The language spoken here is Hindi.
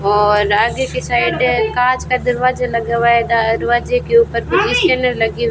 और आगे के साइड एक कांच का दरवाजा लगा हुआ है दरवाजे के ऊपर कुछ लगे हु--